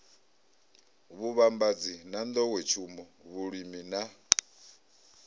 vhuvhambadzi na nḓowetshumo vhulimi na